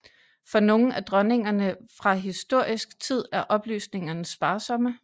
For nogle af dronningerne fra historisk tid er oplysningerne sparsomme